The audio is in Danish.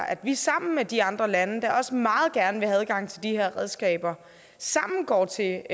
at vi sammen med de andre lande der også meget gerne vil have adgang til de her redskaber går til